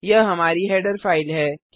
यह हमारी header file है